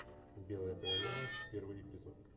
белая королева первый эпизод